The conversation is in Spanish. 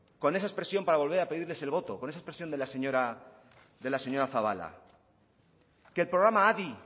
con esa expresión para volver a pedirles el voto con esa expresión de la señora zabala que el programa adi